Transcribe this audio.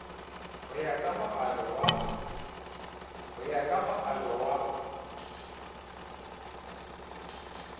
ho ya ka moalo wa